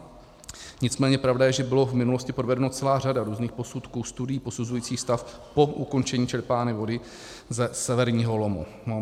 Nicméně pravda je, že byla v minulosti provedena celá řada různých posudků, studií posuzujících stav po ukončení čerpání vody ze severního lomu.